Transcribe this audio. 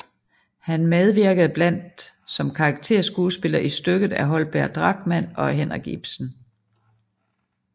Han medvirkede blandt som karakterskuespiller i stykker af Holger Drachmann og Henrik Ibsen